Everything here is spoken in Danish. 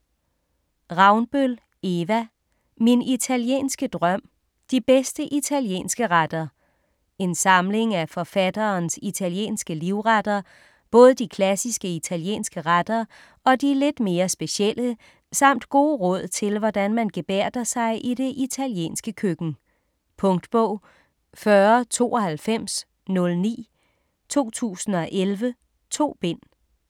Ravnbøl, Eva: Min italienske drøm: de bedste italienske retter En samling af forfatterens italienske livretter, både de klassiske italienske retter og de lidt mere specielle, samt gode råd til, hvordan man gebærder sig i det italienske køkken. Punktbog 409209 2011. 2 bind.